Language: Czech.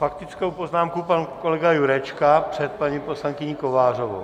Faktickou poznámku má kolega Jurečka před paní poslankyní Kovářovou.